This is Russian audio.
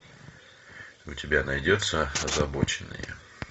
у тебя найдется озабоченные